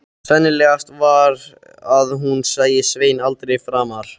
Sennilegast var að hún sæi Svein aldrei framar.